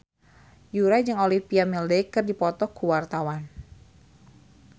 Yura jeung Olivia Wilde keur dipoto ku wartawan